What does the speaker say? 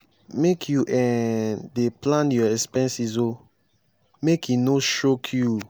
make you um dey plan your expenses o make e no choke you.